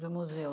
Do museu.